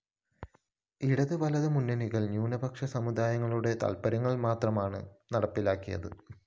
ഇടതു വലതു മുന്നണികള്‍ ന്യൂനപക്ഷ സമുദായങ്ങളുടെ താല്‍പ്പര്യങ്ങള്‍ മാത്രമാണ് നടപ്പാക്കിയത്